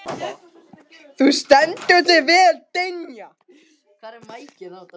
Þú stendur þig vel, Dynja!